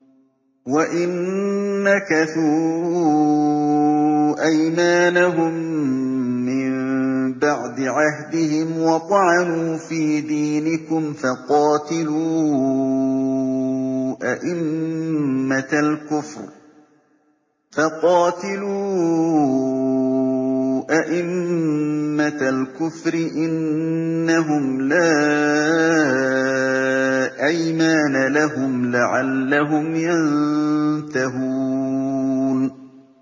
وَإِن نَّكَثُوا أَيْمَانَهُم مِّن بَعْدِ عَهْدِهِمْ وَطَعَنُوا فِي دِينِكُمْ فَقَاتِلُوا أَئِمَّةَ الْكُفْرِ ۙ إِنَّهُمْ لَا أَيْمَانَ لَهُمْ لَعَلَّهُمْ يَنتَهُونَ